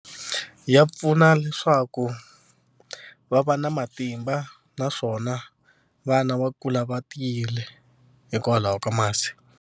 Ya pfuna leswaku va va na matimba naswona vana va kula va tiyile hikwalaho ka masi.